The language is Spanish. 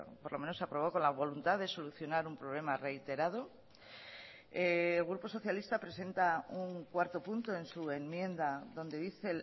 por lo menos se aprobó con la voluntad de solucionar un problema reiterado el grupo socialista presenta un cuarto punto en su enmienda donde dice